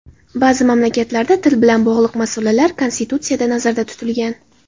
Ba’zi mamlakatlarda til bilan bog‘liq masalalar konstitutsiyada nazarda tutilgan.